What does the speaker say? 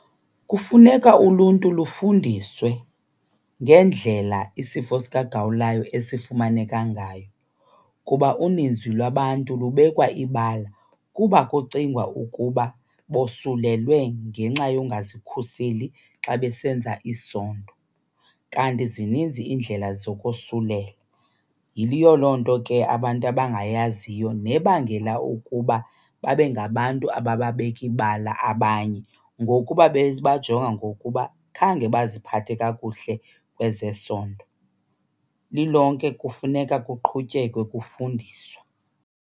Kufuneka uluntu lufundiswe ngendlela isifo sikagawulayo esifumaneka ngayo kuba uninzi lwabantu lubekwa ibala kuba kucingwa ukuba bosulelwe ngenxa yongazikhuseli xa besenza isondo, kanti zininzi iindlela zokosulelwa. Yiyo loo nto ke abantu abangayaziyo nebangela ukuba babe ngabantu abababeka ibala abanye ngokuba bebajonga ngokuba khange baziphathe kakuhle kwezesondo. Lilonke kufuneka kuqhutyekwe kufundiswa.